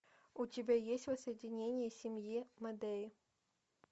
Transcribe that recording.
у тебя есть воссоединение семьи мэдеи